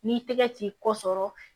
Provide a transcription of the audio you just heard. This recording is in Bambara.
N'i tɛgɛ t'i kɔ sɔrɔ